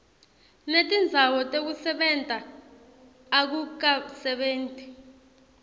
netindzawo tekusebenta akukasebenti